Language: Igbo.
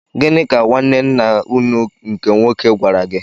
Gịnị ka nwaanne ńnà ụnụ nke nwoke gwara gị?